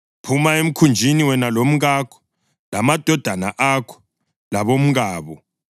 “Phuma emkhunjini, wena lomkakho, lamadodana akho labomkabo.